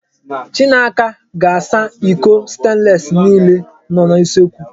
Chinaka ga-asa iko stenlesi niile nọ n'usekwu.